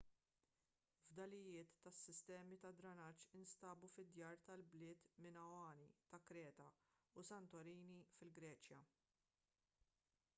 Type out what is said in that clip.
fdalijiet ta' sistemi tad-drenaġġ instabu fid-djar tal-bliet minoani ta' kreta u santorini fil-greċja